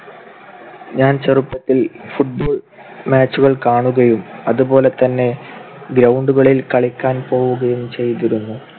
ഞാൻ ചെറുപ്പത്തിൽ football match കൾ കാണുകയും അതുപോലെതന്നെ ground കളിൽ കളിക്കാൻ പോവുകയും ചെയ്‌തിരുന്നു.